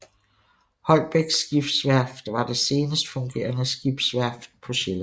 Holbæk Skibsværft var det senest fungerende skibsværft på Sjælland